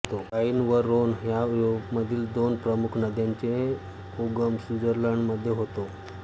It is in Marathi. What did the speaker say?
ऱ्हाइन व ऱ्होन ह्या युरोपामधील दोन प्रमुख नद्यांचा उगम स्वित्झर्लंडमध्ये होतो